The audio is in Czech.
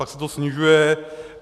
Pak se to snižuje.